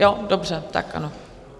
Jo, dobře, tak ano.